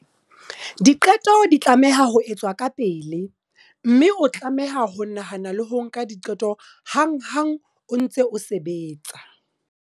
Diqeto di tlameha ho etswa kapele mme o tlameha ho nahana le ho nka diqeto hanghang o ntse o sebetsa.